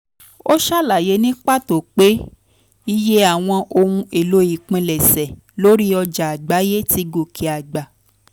ó ṣàlàyé ní pàtó pé iye àwọn ohun èlò ìpilẹ̀ṣẹ̀ lórí ọjà àgbáyé ti gòkè àgbà.